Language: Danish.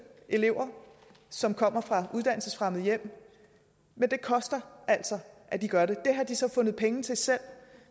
elever som kommer fra uddannelsesfremmede hjem men det koster altså at de gør det det har de så fundet penge til selv